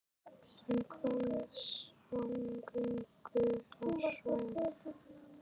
En hvað með samgöngur á svæðinu?